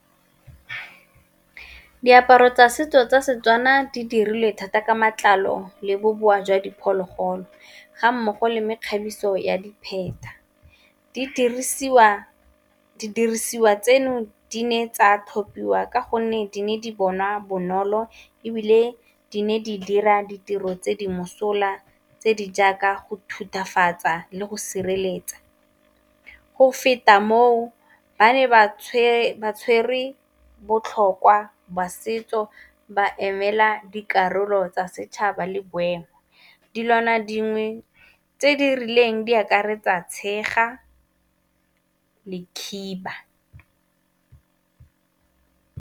Diaparo tsa setso tsa Setswana di dirilwe thata ka matlalo le bobowa jwa diphologolo, ga mmogo le mekgabiso ya dipheta, di dirisiwa tseno di ne tsa tlhophiwa ka gonne di ne di bonwa bonolo ebile di ne di dira ditiro tse di mosola tse di jaaka go thutafatse di le go sireletsa. Go feta moo ba ne ba tshwere botlhokwa ba setso ba emela dikarolo tsa setšhaba le boemo, dilwana dingwe tse di rileng di akaretsa tshega le khiba.